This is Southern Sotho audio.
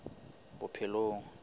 bophelong